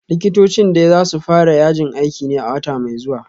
Likitocin dai za su fara yajin aikin ne a wata mai zuwa